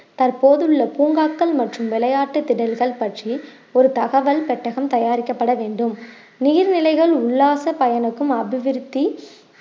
தற்போதுள்ள பூங்காக்கள் மற்றும் விளையாட்டு திடல்கள் பற்றி ஒரு தகவல் பெட்டகம் தயாரிக்கப்பட வேண்டும் நீர்நிலைகள் உல்லாச பயணுக்கும் அபிவிருத்தி